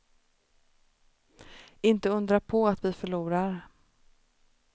Inte undra på att vi förlorar.